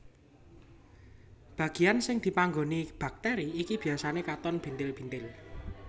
Bagian sing dipanggoni bakteri iki biasane katon bintil bintil